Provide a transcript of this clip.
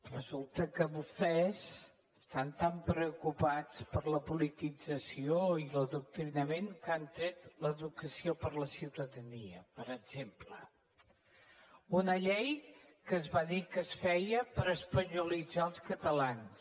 resulta que vostès estan tan preocupats per la politització i l’adoctrinament que han tret l’educació per la ciutadania per exemple una llei que es va dir que es feia per espanyolitzar els catalans